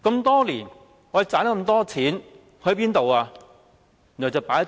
多年來，我們賺到這麼多錢，去了哪裏？